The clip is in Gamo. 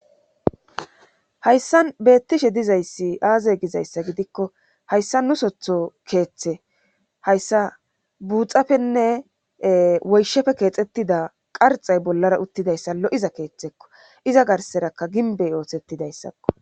hayssa beettishe dizayssi aazey gizayssa gidikko hayssa nu sotho keeththe hayssa buuxapenne woyshefe keexettida qarxay bollara uttidayssa lo7iza keeththekko iza garserakka ginbey oothettidayssakko